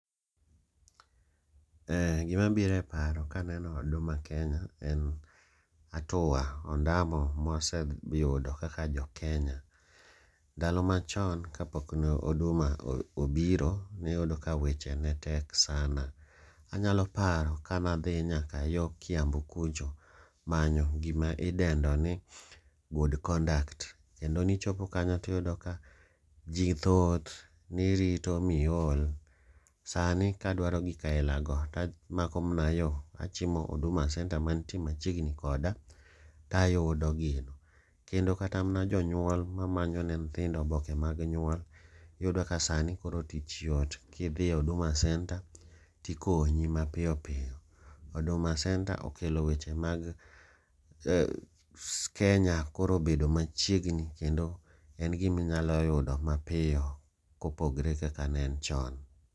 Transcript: Gimabiro e paro kaneno Huduma Kenya en hatua ondamo mwaseyudo kaka Jokenya. Ndalo machon kapok ne Huduma obiro, niyudo ka seche netek sana. Anyalo paro kanadhi nyaka yo Kiambu kucho manyo gima ilwongo ni good conduct. Kendo nichopo kanyo tiyudo ka ji thoth, nirito miol. Sani kadwaro gik ailago, tamako mana yo kachimo Huduma Centre mantie machiegni koda, tayudo gino. Kendo kata mana jonyuol mamanyo ne nyithindo oboke mag nyuol, iyudo ka sani koro tich yot kidhi Huduma centre tikonyi mapiyo piyo. Huduma centre okelo weche mag Kenya koro obedo machiegni kendo en giminyalo yudo mapiyo kopogre kaka ne en chon.